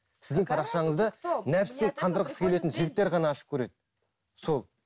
сіздің парақшаңызды нәпсі қандырғысы келетін жігіттер ғана ашып көреді сол